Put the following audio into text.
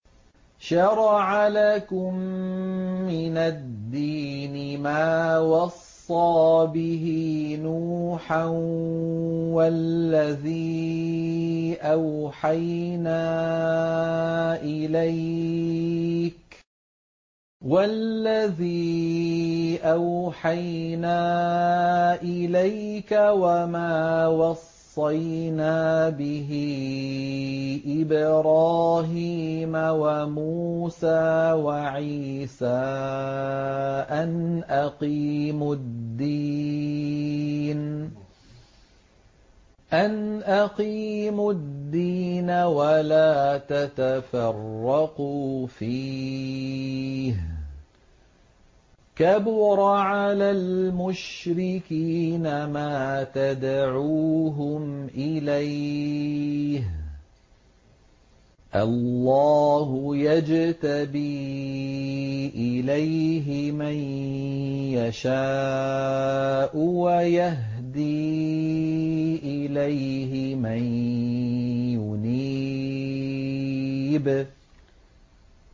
۞ شَرَعَ لَكُم مِّنَ الدِّينِ مَا وَصَّىٰ بِهِ نُوحًا وَالَّذِي أَوْحَيْنَا إِلَيْكَ وَمَا وَصَّيْنَا بِهِ إِبْرَاهِيمَ وَمُوسَىٰ وَعِيسَىٰ ۖ أَنْ أَقِيمُوا الدِّينَ وَلَا تَتَفَرَّقُوا فِيهِ ۚ كَبُرَ عَلَى الْمُشْرِكِينَ مَا تَدْعُوهُمْ إِلَيْهِ ۚ اللَّهُ يَجْتَبِي إِلَيْهِ مَن يَشَاءُ وَيَهْدِي إِلَيْهِ مَن يُنِيبُ